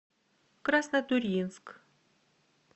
краснотурьинск